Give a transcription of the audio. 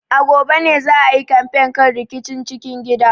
A gobe ne za a yi kamfen kan rikicin cikin gida.